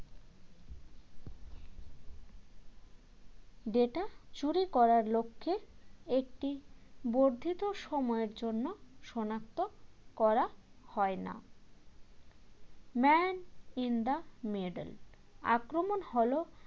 data চুরি করার লক্ষ্যে একটি বর্ধিত সময়ের জন্য সনাক্ত করা হয় না man in the middle আক্রমণ হল